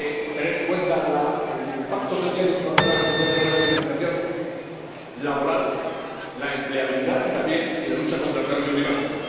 teniendo en cuenta el impacto social y, por lo tanto, la necesidad de una especialización laboral, la empleabilidad y, también, la lucha contra el cambio climático.